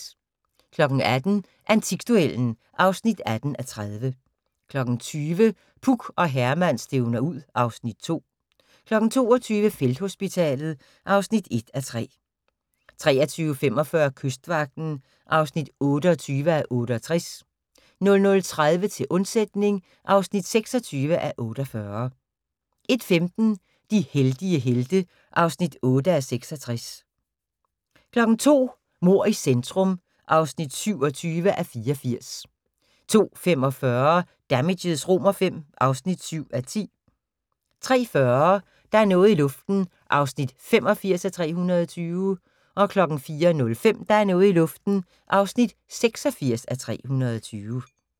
18:00: Antikduellen (18:30) 20:00: Puk og Herman stævner ud (Afs. 2) 22:00: Felthospitalet (1:3) 23:45: Kystvagten (28:68) 00:30: Til undsætning (26:48) 01:15: De heldige helte (8:66) 02:00: Mord i centrum (27:84) 02:45: Damages V (7:10) 03:40: Der er noget i luften (85:320) 04:05: Der er noget i luften (86:320)